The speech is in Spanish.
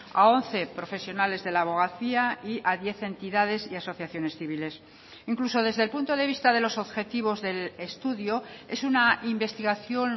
a once profesionales de la abogacía y a diez entidades y asociaciones civiles incluso desde el punto de vista de los objetivos del estudio es una investigación